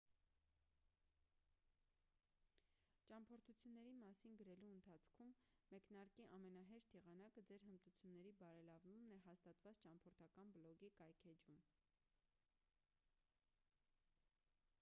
ճամփորդությունների մասին գրելու հարցում մեկնարկի ամենահեշտ եղանակը ձեր հմտությունների բարելավումն է հաստատված ճամփորդական բլոգի կայքէջում